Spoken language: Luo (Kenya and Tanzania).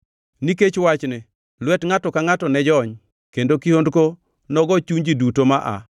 Nikech wachni, lwet ngʼato ka ngʼato ne jony, kendo kihondko nogo chuny ji duto ma aa.